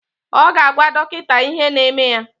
Ọ ga-agwa dọkịta ihe na-eme ya